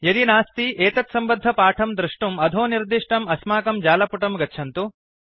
यदि नास्ति एतत्सम्बद्धपाठं दृष्टुम् अधो निर्दिष्टम् अस्माकं जालपुटं गच्छन्तु